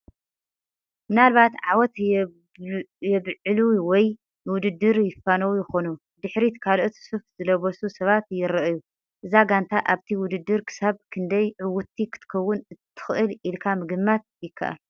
ምናልባት ዓወት የብዕሉ ወይ ንውድድር ይፋነዉ ይኾኑ። ብድሕሪት ካልኦት ሱፍ ዝለበሱ ሰባት ይረኣዩ። እዛ ጋንታ ኣብቲ ውድድር ክሳብ ክንደይ ዕውትቲ ክትከውን ትኽእል ኢልካ ምግማት ይካኣል?